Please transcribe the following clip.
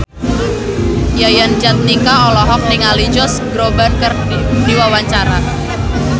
Yayan Jatnika olohok ningali Josh Groban keur diwawancara